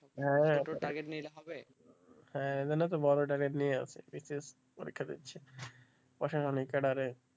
হ্যাঁ ওই জন্য তো বড় target নিয়ে আছি বি সি এস সি পরীক্ষা দিচ্ছি,